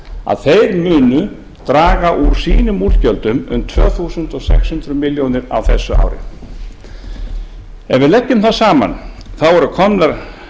að þeir munu draga úr sínum útgjöldum um tvö þúsund sex hundruð milljónir á þessu ári ef við leggjum það saman eru komnar